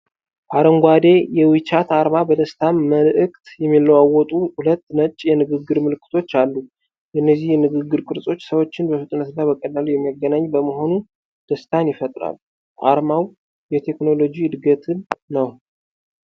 አረንጓዴው የዊቻት አርማ በደስታ መልዕክት የሚለዋወጡ ሁለት ነጭ የንግግር ምልክቶችን አሉ። እነዚህ የንግግር ቅርጾች ሰዎችን በፍጥነትና በቀላሉ የሚያገናኝ በመሆኑ ደስታን ይፈጥራሉ። አርማው የቴክኖሎጂ እድገትን ነው።